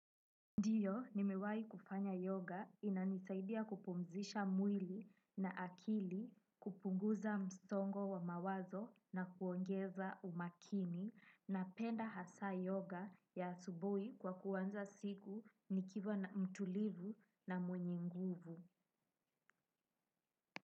Ndiyo, nimewai kufanya yoga inanisaidia kupumzisha mwili na akili, kupunguza msongo wa mawazo na kuongeza umakini napenda hasaa yoga ya asubuhi kwa kuanza siku nikiwa mtulivu na mwenye nguvu.